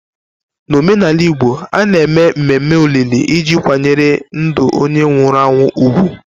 N'omenala Igbo, a na-eme mmemme olili iji kwanyere ndụ onye nwụrụ anwụ ùgwù.